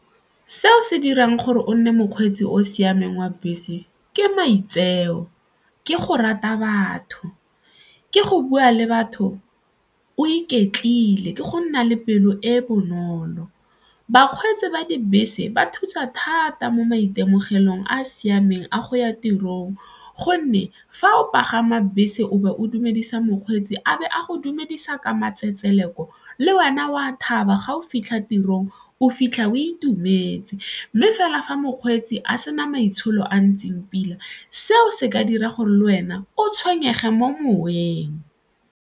Seo se dirang gore o nne mokgweetsi o o siameng wa bese ke maitseo, ke go rata batho, ke go bua le batho o iketlile, ke go nna le pelo e e bonolo. Bakgweetsi ba dibese ba thusa thata mo maitemogelong a a siameng a go ya tirong gonne fa o pagama bese o be o dumedisa mokgweetsi a be a go dumedisa ka matsetseleko le wena o a thaba ga o fitlha tirong o fitlha o itumetse mme fela fa mokgweetsi a sena maitsholo a ntseng pila seo se ka dira gore le wena o tshwenyege mo moweng.